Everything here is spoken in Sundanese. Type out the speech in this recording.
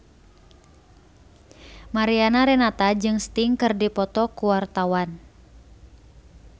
Mariana Renata jeung Sting keur dipoto ku wartawan